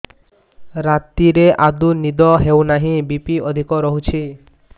ରାତିରେ ଆଦୌ ନିଦ ହେଉ ନାହିଁ ବି.ପି ଅଧିକ ରହୁଛି